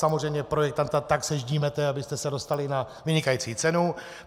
Samozřejmě projektanta tak seždímáte, abyste se dostali na vynikající cenu.